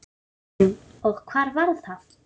Hugrún: Og hvar var það?